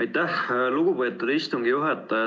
Aitäh, lugupeetud istungi juhataja!